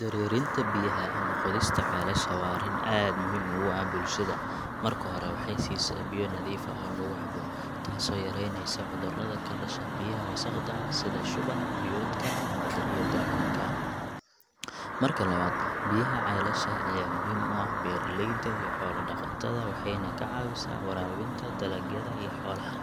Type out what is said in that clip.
Dareerinta biyaha ama qodista ceelasha waa arrin aad muhiim ugu ah bulshada. Marka hore, waxay siisaa biyo nadiif ah oo lagu cabo, taasoo yaraynaysa cudurrada ka dhasha biyaha wasaqda ah sida shuban biyoodka ama iyo daacuunka. Marka labaad, biyaha ceelasha ayaa muhiim u ah beeraleyda iyo xoolo-dhaqatada, waxayna ka caawisaa waraabinta dalagyada iyo xoolaha,